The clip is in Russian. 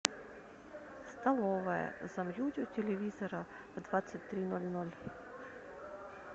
столовая замьють у телевизора в двадцать три ноль ноль